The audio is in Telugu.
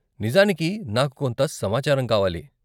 నిజానికి, నాకు కొంత సమాచారం కావాలి.